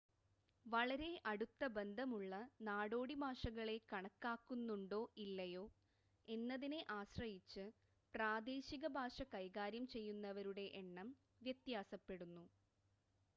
വളരെ അടുത്ത ബന്ധമുള്ള നാടോടി ഭാഷകളെ കണക്കാക്കുന്നുണ്ടോ ഇല്ലയോ എന്നതിനെ ആശ്രയിച്ച് പ്രാദേശിക ഭാഷ കൈകാര്യം ചെയ്യുന്നവരുടെ എണ്ണം വ്യത്യാസപ്പെടുന്നു